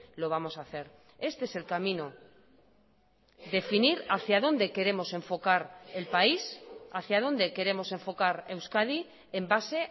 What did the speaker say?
lo vamos a hacer este es el camino definir hacia donde queremos enfocar el país hacia dónde queremos enfocar euskadi en base